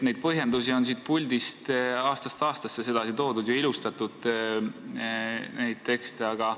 Neid põhjendusi on siit puldist aastast aastasse samamoodi toodud ja seda teksti ilustatud.